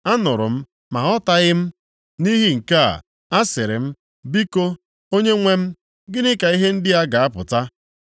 Anụrụ m ma aghọtaghị m, nʼihi nke a, a sịrị m, “Biko, Onyenwe m, gịnị ka ihe ndị a ga-apụta?”